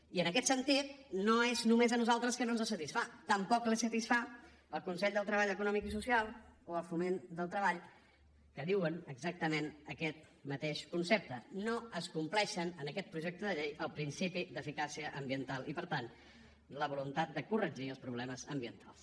i en aquest sentit no és només a nosaltres que no ens satisfà tampoc satisfà el consell de treball econòmic i social o el foment del treball que diuen exactament aquest mateix concepte no es compleix en aquest projecte de llei el principi d’eficàcia ambiental i per tant la voluntat de corregir els problemes ambientals